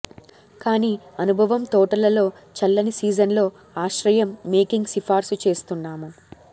కానీ అనుభవం తోటలలో చల్లని సీజన్లో ఆశ్రయం మేకింగ్ సిఫార్సు చేస్తున్నాము